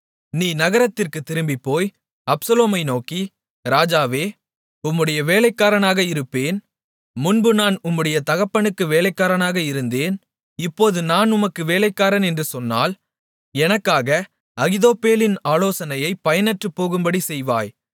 நீ நகரத்திற்குத் திரும்பிப்போய் அப்சலோமை நோக்கி ராஜாவே உம்முடைய வேலைக்காரனாக இருப்பேன் முன்பு நான் உம்முடைய தகப்பனுக்கு வேலைக்காரனாக இருந்தேன் இப்போது நான் உமக்கு வேலைக்காரன் என்று சொன்னால் எனக்காக அகித்தோப்பேலின் ஆலோசனையை பயனற்றுப் போகும்படிச் செய்வாய்